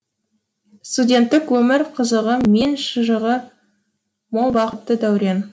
студенттік өмір қызығы мен шыжығы мол бақытты дәурен